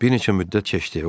Bir neçə müddət keçdi.